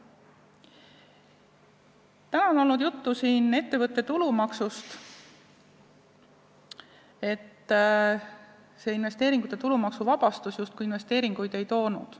Täna on siin juttu olnud ettevõtte tulumaksust, et see investeeringute tulumaksuvabastus justkui investeeringuid ei toonud.